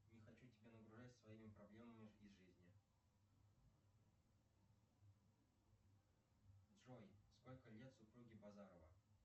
не хочу тебя нагружать своими проблемами из жизни джой сколько лет супруге базарова